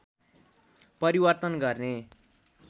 परिवर्तन गर्ने